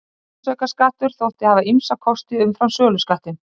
Virðisaukaskattur þótti hafa ýmsa kosti umfram söluskattinn.